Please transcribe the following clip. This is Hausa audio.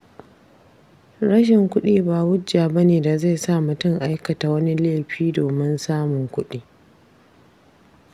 Rashin kuɗi ba hujja bane da zai sa mutum aikata wani laifi domin samun kuɗi.